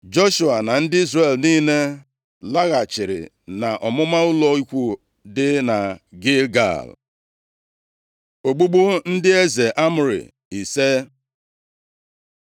Joshua na ndị Izrel niile laghachiri nʼọmụma ụlọ ikwu dị na Gilgal. Ogbugbu ndị eze Amọrị ise